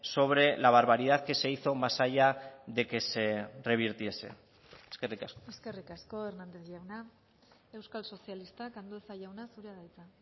sobre la barbaridad que se hizo más allá de que se revirtiese eskerrik asko eskerrik asko hernández jauna euskal sozialistak andueza jauna zurea da hitza